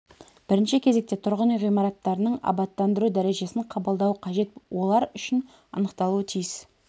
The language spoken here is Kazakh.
бірінші кезекте тұрғын үй ғимараттарының абаттандыру дәрежесін қабылдау қажет олар үшін анықталуы тиіс